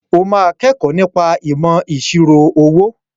O máa kẹ́kọ̀ọ́ nípa ìmọ̀ ìṣirò owó.